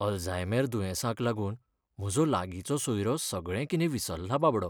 Alzheimer दुयेंसाक लागून म्हजो लागींचो सोयरो सगळें कितें विसरला बाबडो.